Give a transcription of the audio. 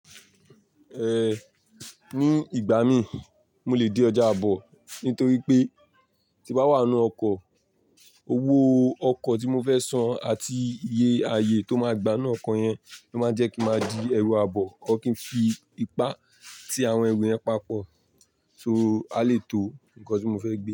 En, ní ìgbà mi, mo lè di ọjà àbọ̀ nítorí pé tí bá wà nínú ọkọ̀, owó ọkọ̀ tí mo fẹ́ san àti iye aye tó máa gbá ninú ọkọ̀ yẹn ló máa jẹ́ kí máa di ẹrù àbọ̀. Or kín fi ipá tí àwọn ẹrù yẹn papọ̀, so a lè tó nǹkan tí mo fẹ́ gbé.